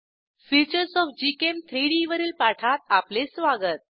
features of gchem3डी वरील पाठात आपले स्वागत